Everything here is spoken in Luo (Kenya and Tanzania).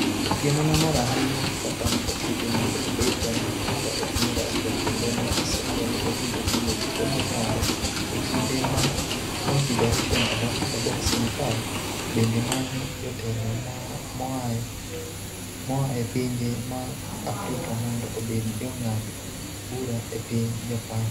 Otieno ne mor ahinya gi kaka ne okete mondo obed jang'ad bura e piny Russia kendo ne osingo ni obiro timo duto monyalo e kinde ma Confederation of African Boxing (CAB) bende manyo jotelo moa e pinje mag Afrika mondo obed jong'ad bura e piny Japan.